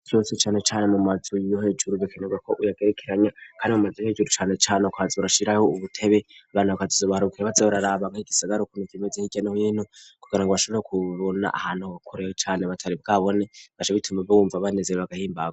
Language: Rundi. Icibutsu cane cane mu mazu yuhejuru gekenerwa ko uy gerekeranya kandi mu mazu yi hejuru cyane cane kwazura ashirayho ubutebe bantu bakazizobaharukire bazobrara bagahig isagarukuno ka imeze h'iganeho y'into kugira ng bashobore kubona ahantu bakoreho cyane batari bwabone baje bitema byo bumva banezere bagahimba.